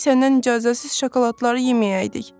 Gərək səndən icazəsiz şokoladları yeməyəydik.